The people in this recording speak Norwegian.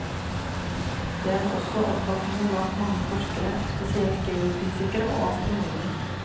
Dette er også oppfatningen blant mange forskere, spesielt geofysikere og astronomer.